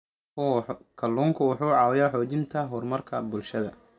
Kalluunku wuxuu caawiyaa xoojinta horumarka bulshada.